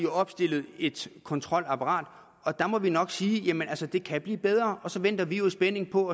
opstillet et kontrolapparat og der må vi nok sige jamen altså det kan blive bedre så venter vi jo i spænding på